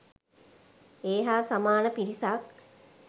ඒ හා සමාන පිරිසක්